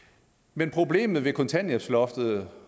men problemet ved kontanthjælpsloftet